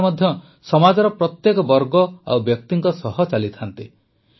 ଭଗବାନ ମଧ୍ୟ ସମାଜର ପ୍ରତ୍ୟେକ ବର୍ଗ ଓ ବ୍ୟକ୍ତିଙ୍କ ସହ ଚାଲିଥାନ୍ତି